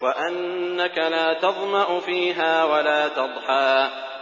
وَأَنَّكَ لَا تَظْمَأُ فِيهَا وَلَا تَضْحَىٰ